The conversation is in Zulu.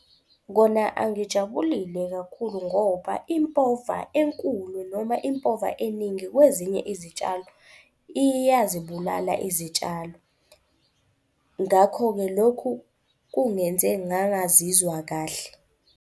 Kona angijabulile kakhulu ngoba impova enkulu noma impova eningi kwezinye izitshalo iyazibulala izitshalo. Ngakho-ke lokhu kungenze ngangazizwa kahle.